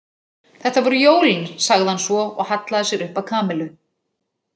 Þetta voru jólin sagði hann svo og hallaði sér upp að Kamillu.